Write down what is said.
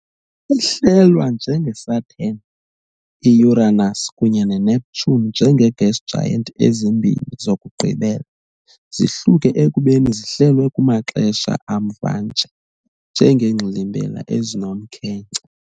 Ihlelwa, njengeSaturn, i-Uranus kunye neNeptune, njenge-gas giant, ezimbini zokugqibela zihluke ekubeni zihlelwe kumaxesha amva nje njengeengxilimbela ezinomkhenkce.